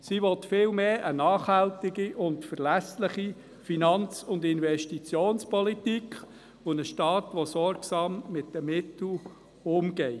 Sie will vielmehr eine nachhaltige und verlässliche Finanz- und Investitionspolitik und einen Staat, der sorgsam mit den Mitteln umgeht.